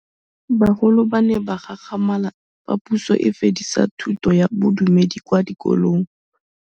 Bagolo ba ne ba gakgamala fa Pusô e fedisa thutô ya Bodumedi kwa dikolong.